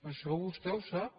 això vostè ho sap